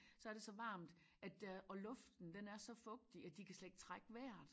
Så er det så varmt at øh og luften den er så fugtig at de kan slet ikke trække vejret